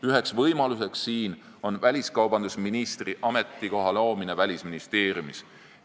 Üheks võimaluseks siin on väliskaubandusministri ametikoha loomine Välisministeeriumis.